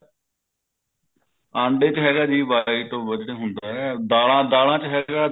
ਆਂਡੇ ਚ ਹੈਗਾ ਜੀ white ਜਿਹੜਾ ਹੁੰਦਾ ਹੈ ਦਾਲਾਂ ਦਾਲਾਂ ਚ ਹੈਗਾ